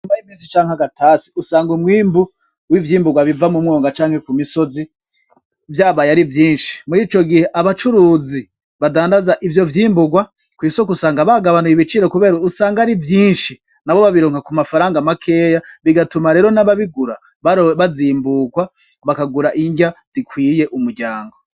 Inyuma y'impeshi cank'agatasi ,usang'umwimbu w'ivyimburwabiva mu myonga canke ku misozi vyabaye mvyinshi, murico gihe abacuruzi badandaza ivyo vyimburwa kw'isoko usanga bagabanuy'ibiciro, kuber'usang'arivyinshi nabo babironka ku mafaranga makeyi bigatuma, rero n'ababigura bazimburwa bakagura irya zikwiye umuryango.